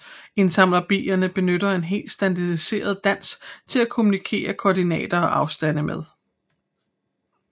Indsamlerbierne benytter en helt standardiseret dans til at kommunikere koordinater og afstande med